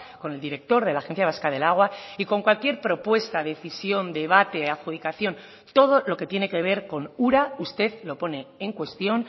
con el director de la agencia vasca del agua y con cualquier propuesta decisión debate adjudicación todo lo que tiene que ver con ura usted lo pone en cuestión